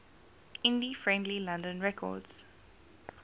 indie friendly london records